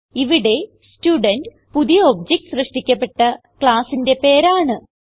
ഇവിടെ സ്റ്റുഡെന്റ് പുതിയ ഒബ്ജക്ട് സൃഷ്ടിക്കപ്പെട്ട ക്ലാസ്സിന്റെ പേരാണ്